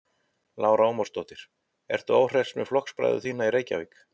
Lára Ómarsdóttir: Ertu óhress með flokksbræður þína í Reykjavík?